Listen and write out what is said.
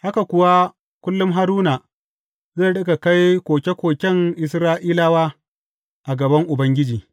Haka kuwa kullum Haruna zai riƙa kai koke koken Isra’ilawa a gaban Ubangiji.